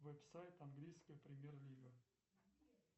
веб сайт английская премьер лига